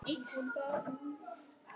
Nú liggur vél á mér